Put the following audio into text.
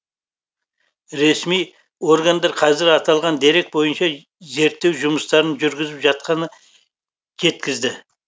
ресми органдар қазір аталған дерек бойынша зерттеу жұмыстарын жүргізіп жатқанын жеткізді